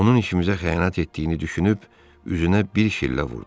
Onun işimizə xəyanət etdiyini düşünüb üzünə bir şillə vurdum.